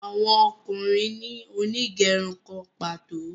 Àwọn ọkùnrin ní Onigerun kán pàtó.